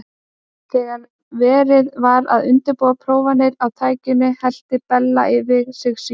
Þegar verið var að undirbúa prófanir á tækinu hellti Bell yfir sig sýru.